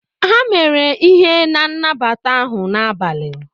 a mere ihe n' nabata ahụ n'abalị